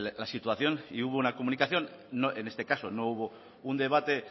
la situación y hubo una comunicación en este caso no hubo un debate